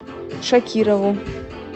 шакирову